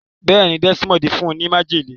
béèni Desmond fún ní májèlé.